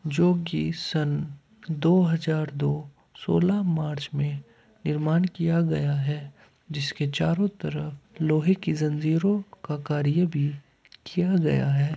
जो कि सन दो हज़ार दो सोलह मार्च में निर्माण किया गया है जिसके चारों तरफ लोहे की जंजीरों का कार्य भी किया गया है।